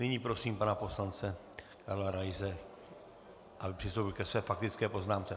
Nyní prosím pana poslance Karla Raise, aby přistoupil ke své faktické poznámce.